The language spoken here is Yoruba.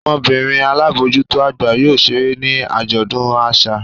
Ọmọbinrin alabojuto agba yóò ṣere ni ajọdun aṣa.